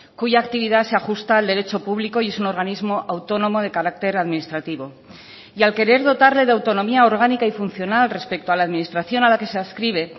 cuya actividad se ajusta al derecho público y es un organismo autónomo de carácter administrativo y al querer dotarle de autonomía orgánica y funcional respecto a la administración a la que se adscribe